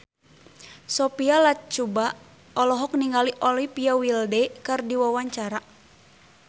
Sophia Latjuba olohok ningali Olivia Wilde keur diwawancara